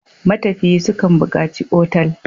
Matafiyi su kan buƙaci otal.